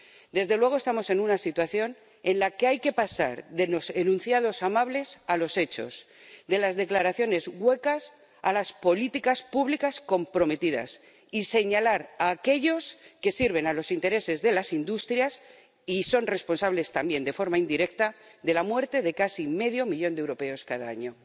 Desde luego, estamos en una situación en la que hay que pasar de los enunciados amables a los hechos, de las declaraciones huecas a las políticas públicas comprometidas, y señalar a aquellos que sirven a los intereses de las industrias y son responsables también de forma indirecta de la muerte de casi medio millón de europeos cada año.